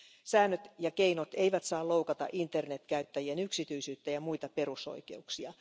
Säännöt ja keinot eivät saa loukata internetkäyttäjien yksityisyyttä ja muita perusoikeuksia.